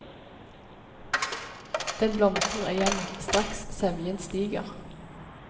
Den blomstrer igjen straks sevjen stiger.